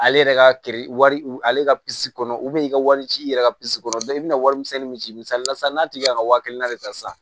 Ale yɛrɛ ka wari ale ka kɔnɔ i ka wari ci i yɛrɛ ka kɔnɔ i bina wari misɛnin min ci misali la sisan n'a tigi y'a ka waa kelen na de ta sa